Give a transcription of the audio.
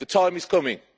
The time is coming.